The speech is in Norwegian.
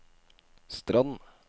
Strand